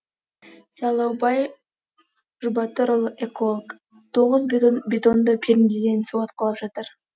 сайлаубай жұбатырұлы эколог тоғыз бетонды пернеден су атқылап жатыр